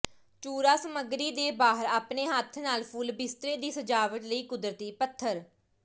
ਚੂਰਾ ਸਮੱਗਰੀ ਦੇ ਬਾਹਰ ਆਪਣੇ ਹੱਥ ਨਾਲ ਫੁੱਲ ਬਿਸਤਰੇ ਦੀ ਸਜਾਵਟ ਲਈ ਕੁਦਰਤੀ ਪੱਥਰ